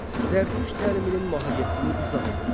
Zərdüşt təliminin mahiyyətini izah edin.